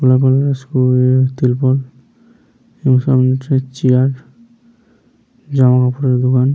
গেরুয়া কালারের ত্রিপল এবং সামনে একটি চেয়ার । জামা কাপড়ের দোকান।